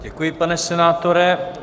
Děkuji, pane senátore.